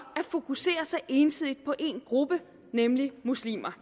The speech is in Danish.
at fokusere så ensidigt på en gruppe nemlig muslimer